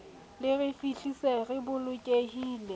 le re fihlise re bolokehile